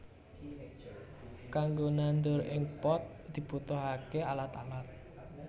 Kanggo nandur ing pot dibutuhaké alat alat